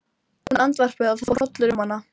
Hún andvarpaði og það fór hrollur um hana.